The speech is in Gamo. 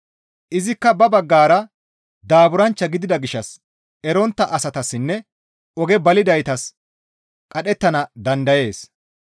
Izikka ba baggara daaburanchcha gidida gishshas erontta asatassinne oge balidaytas qadhettana dandayees.